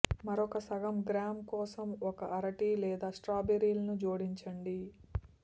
మరొక సగం గ్రామ్ కోసం ఒక అరటి లేదా స్ట్రాబెర్రీలను జోడించండి